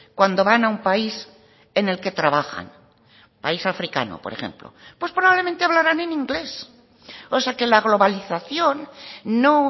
cuando van a un país en el que trabajan país africano por ejemplo pues probablemente hablaran en inglés o sea que la globalización no